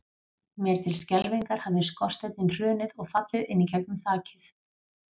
Mér til skelfingar hafði skorsteinninn hrunið og fallið inn í gegnum þakið.